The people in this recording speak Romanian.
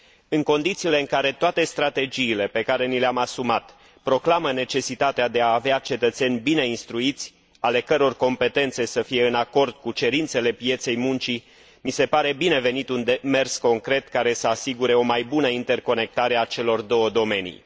În condițiile în care toate strategiile pe care ni le am asumat proclamă necesitatea de a avea cetățeni bine instruiți, ale căror competențe să fie în acord cu cerințele pieței muncii, mi se pare bine venit un demers concret, care să asigure o mai bună interconectare a celor două domenii.